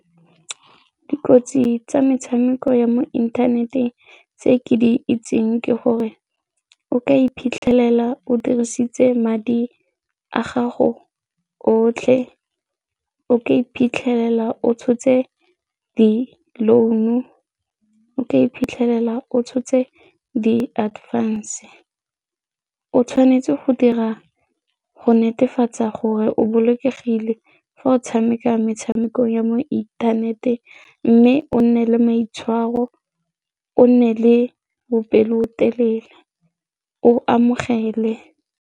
Dikotsi tsa metshameko ya mo inthaneteng tse ke di itseng ke gore o ka iphitlhelela o dirisitse madi a gago otlhe, o ka iphitlhela o tshotse di-loan-o, o ka iphitlhela o tshotse di-earphones, o tshwanetse go dira go netefatsa gore o bolokegile fa o tshameka metshameko ya mo inthaneteng mme o nne le maitshwaro, o nne le bopelotelele, o amogele.